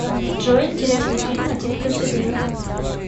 джой интересный фильм один плюс один